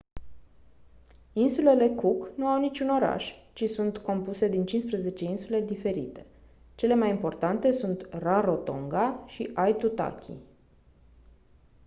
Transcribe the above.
insulele cook nu au niciun oraș ci sunt compuse din 15 insule diferite cele mai importante sunt rarotonga și aitutaki